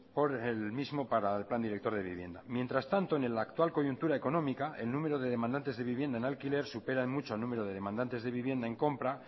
por el mismo para el plan director de vivienda mientras tanto en el actual coyuntura económica el número de demandantes de vivienda en alquiler supera en mucho al número de demandantes de vivienda en compra